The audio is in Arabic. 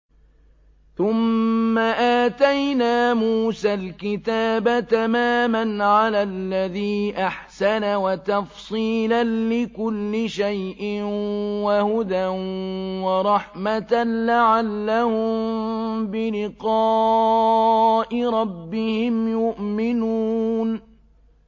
ثُمَّ آتَيْنَا مُوسَى الْكِتَابَ تَمَامًا عَلَى الَّذِي أَحْسَنَ وَتَفْصِيلًا لِّكُلِّ شَيْءٍ وَهُدًى وَرَحْمَةً لَّعَلَّهُم بِلِقَاءِ رَبِّهِمْ يُؤْمِنُونَ